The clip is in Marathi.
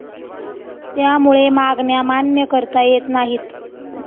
त्यामुळे मागण्या मान्य करता येत नाहीत.